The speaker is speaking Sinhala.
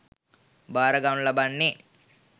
භාරගනු ලබන්නේ